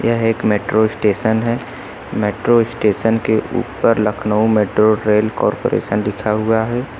यह एक metro station है मेट्रो स्टेशन के ऊपर लखनऊ मेट्रो रेल कॉरपोरेशन लिखा हुआ है।